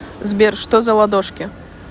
сбер что за ладошки